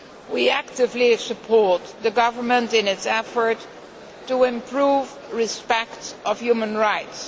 We actively support the government in its efforts to improve respect for human rights.